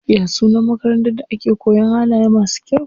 Ya sunan makarantar da ake koyan halaye masu kyau?